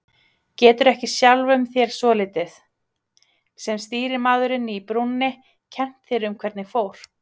Getur ekki sjálfum þér svolítið, sem stýrimaðurinn í brúnni, kennt þér um hvernig fór?